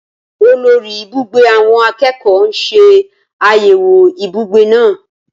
Olórí ibùgbé àwọn akẹ́kọ̀ọ́ ń ṣe àyẹ̀wò ibùgbé náà